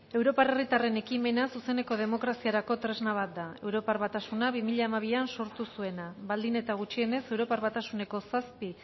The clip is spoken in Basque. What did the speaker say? europar herritarren ekimena zuzeneko demokraziarako tresna bat da europar basatasuna bi mila hamabian sortu zuena baldin eta gutxienez europar batasuneko zazpi